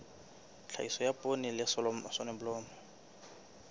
tlhahiso ya poone le soneblomo